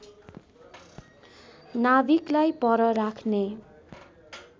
नाभिकलाई पर राख्ने